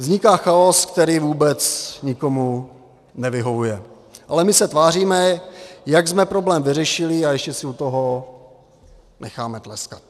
Vzniká chaos, který vůbec nikomu nevyhovuje, ale my se tváříme, jak jsme problém vyřešili, a ještě si u toho necháme tleskat.